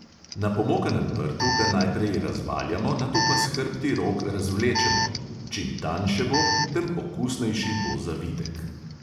Na pomokanem prtu ga najprej razvaljamo, nato pa s hrbti rok razvlečemo – čim tanjše bo, tem okusnejši bo zavitek.